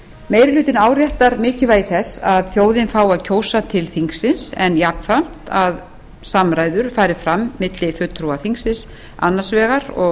meiri hlutinn áréttar mikilvægi þess að þjóðin fái að kjósa til þingsins en jafnframt að samræður fari fram milli fulltrúa þingsins annars vegar og